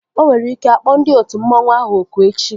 Onwere ike akpọ ndị otu mmanwu ahụ oku echi